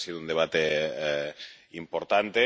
Creo que ha sido un debate importante.